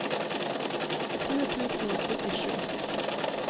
tjue tusen og syttisju